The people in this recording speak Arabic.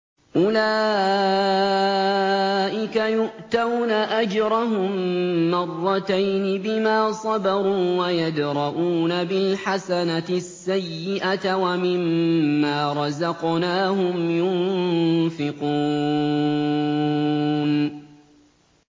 أُولَٰئِكَ يُؤْتَوْنَ أَجْرَهُم مَّرَّتَيْنِ بِمَا صَبَرُوا وَيَدْرَءُونَ بِالْحَسَنَةِ السَّيِّئَةَ وَمِمَّا رَزَقْنَاهُمْ يُنفِقُونَ